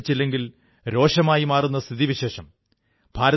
വിജയം ലഭിച്ചില്ലെങ്കിൽ രോഷമായി മാറുന്ന സ്ഥിതിവിശേഷം